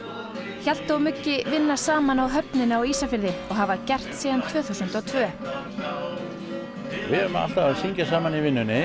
Hjalti og vinna saman á höfninni á Ísafirði og hafa gert síðan tvö þúsund og tvö við erum alltaf að syngja saman í vinnunni